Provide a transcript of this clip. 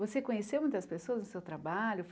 Você conheceu muitas pessoas no seu trabalho?